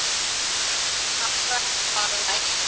Hamra hvaða járn?